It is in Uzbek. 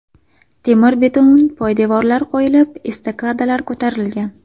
Temir-beton poydevorlar qo‘yilib, estakadalar ko‘tarilgan.